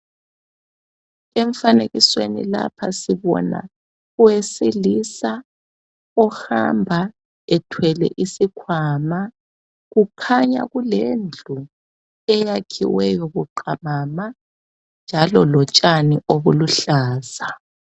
Emfanekisweni lapha sibona owesilisa ohamba ethwele isikhwama kukhanya kulendlu eyakhiweyo buqamama njalo lotshani obuluhlaza